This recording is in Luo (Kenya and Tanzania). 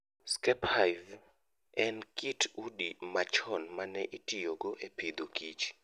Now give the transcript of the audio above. Skep Hive en kit udi ma chon mane itiyogo e Agriculture and Food.